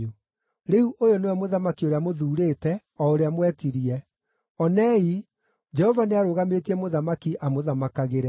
Rĩu ũyũ nĩwe mũthamaki ũrĩa mũthuurĩte, o ũrĩa mwetirie; onei, Jehova nĩarũgamĩtie mũthamaki amũthamakagĩre.